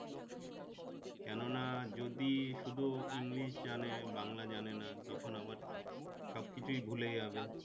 কেননা যদি শুধু english জানে বাংলা জানেনা তখন আবার সবকিছু ভুলে যাবে